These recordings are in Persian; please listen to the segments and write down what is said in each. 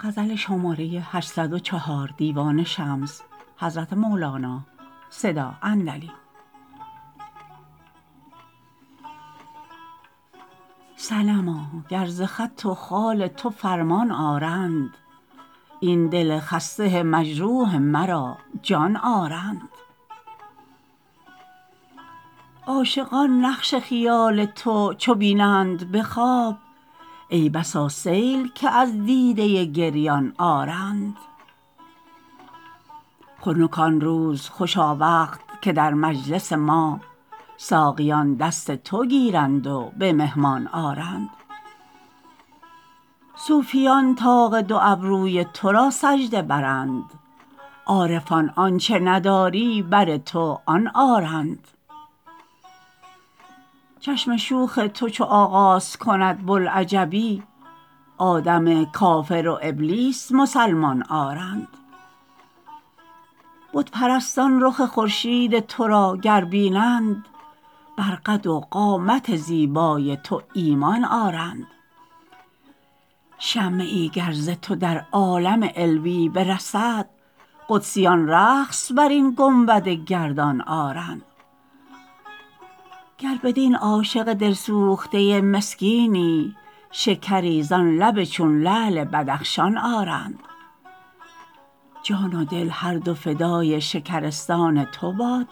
صنما گر ز خط و خال تو فرمان آرند این دل خسته مجروح مرا جان آرند عاشقان نقش خیال تو چو بینند به خواب ای بسا سیل که از دیده گریان آرند خنک آن روز خوشا وقت که در مجلس ما ساقیان دست تو گیرند و به مهمان آرند صوفیان طاق دو ابروی تو را سجده برند عارفان آنچ نداری بر تو آن آرند چشم شوخ تو چو آغاز کند بوالعجبی آدم کافر و ابلیس مسلمان آرند بت پرستان رخ خورشید تو را گر بینند بر قد و قامت زیبای تو ایمان آرند شمه ای گر ز تو در عالم علوی برسد قدسیان رقص بر این گنبد گردان آرند گر بدین عاشق دلسوخته مسکینی شکری زان لب چون لعل بدخشان آرند جان و دل هر دو فدای شکرستان تو باد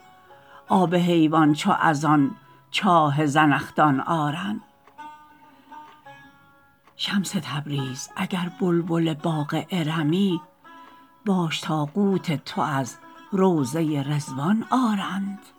آب حیوان چو از آن چاه زنخدان آرند شمس تبریز اگر بلبل باغ ارمی باش تا قوت تو از روضه رضوان آرند